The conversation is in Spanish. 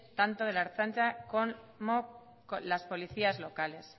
tanto de la ertzaintza como las policías locales